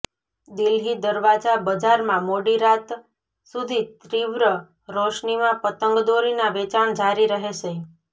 દિલ્હી દરવાજા બજારમાં મોડી રાત સુધી તીવ્ર રોશનીમાં પતંગદોરીના વેચાણ જારી રહેશે